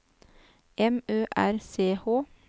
M Ø R C H